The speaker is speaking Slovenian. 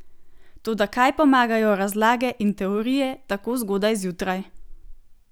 Toda kaj pomagajo razlage in teorije tako zgodaj zjutraj?